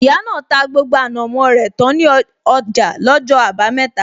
Ìyá náà ta gbogbo ànàmó rẹ tán ní ọjà lọ́jọ́ abameta